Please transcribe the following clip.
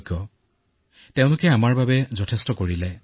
জনসাধাৰণক বুজাওক যে আপোনাৰ পৰিয়াল কিদৰে আক্ৰান্ত হৈছিল